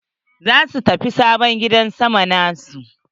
Za su tafi sabon gidan sama na su.